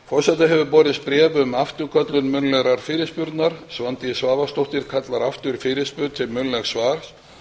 forseta hefur borist bréf um afturköllun munnlegrar fyrirspurnar svandís svavarsdóttir kallar aftur fyrirspurn til munnlegs svars